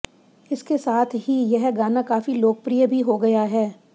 इसके साथ ही यह गाना काफी लोकप्रिय भी हो गया है